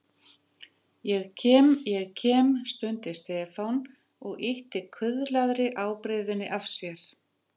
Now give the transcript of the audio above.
Ég kem, ég kem stundi Stefán og ýtti kuðlaðri ábreiðunni af sér.